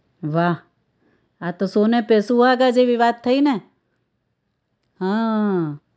વાહ આ તો सोने पे सुहागा જેવી વાત થઇ ને હાઅ